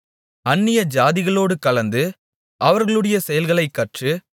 அந்நிய ஜாதிகளோடு கலந்து அவர்களுடைய செயல்களைக் கற்று